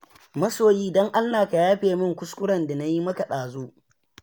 Masoyi don Allah ka yafe min kuskuren da na yi maka ɗazu.